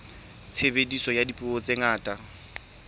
tshebediso ya dipuo tse ngata